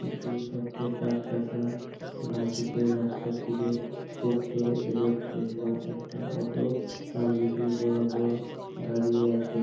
জোর সাত চাকা বাঁদিকে রাস্তার দিকে খুব জোরে এগোচ্ছে এবং একটা অটো তার মিডিল বরাবর দাঁড়িয়ে আছে